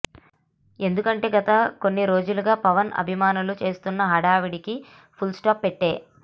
ఎందుకంటే గత కొన్ని రోజులుగా పవన్ అభిమానులు చేస్తున్న హడావిడి కి ఫుల్ స్టాప్ పెట్టె